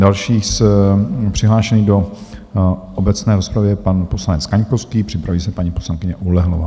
Další přihlášený do obecné rozpravy je pan poslanec Kaňkovský, připraví se paní poslankyně Oulehlová.